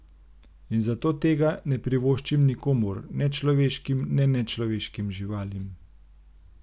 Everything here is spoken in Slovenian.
In zato tega ne privoščim nikomur, ne človeškim ne nečloveškim živalim.